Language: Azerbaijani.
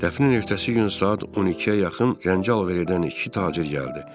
Dəfnin ertəsi gün saat 12-ə yaxın zənci alver edən iki tacir gəldi.